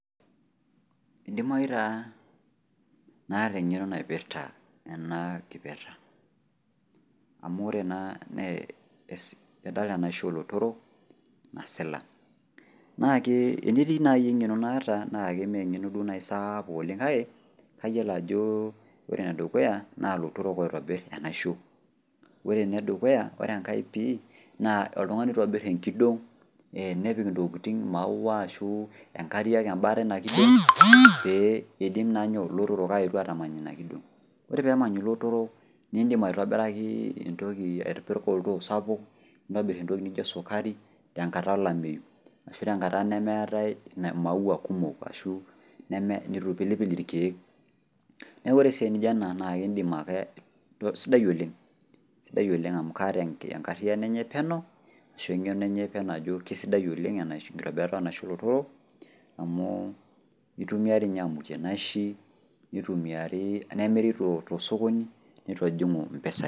Eidimayu taa naata eng'eno naipirta ena kipirta. Amu ore naa nee idol enaisho olotorok nasila. Nakee enetii nai eng'eno naataa nake meeng'eno duo nai saapuk oleng' kake kayiolo ajoo ore enedukuya naa lotorok oitobirr enaisho. Ore nedukuya, ore engai pii naa oltung'ani oitobirr enkidong' [ee] nepik intokitin maua ashuu inkariak embata eina kidong' pee eidim naa nyoo, lotorok aetu atamany ina kidong'. Ore peemany ilotorrok nindim aitobirakii entoki, aitibirr oltoo sapuk nintobirr entoki nijo esukari tenkata olameyu ashu tenkata nemeetai  maua kumok ashu neme-neitu eipilipil ilkeek. Neaku ore esiai nijo ena naake indim ake , sidai oleng'. Sidai oleng' amu kaata enkarriyano enye peno ashu eng'eno enye peno kesidai oleng' enaisho, enkitobirata enaisho olotorok amuu eitumiai dei ninye amukie naishi neitumiari, nemiri tosokoni neitojing'u mpesai.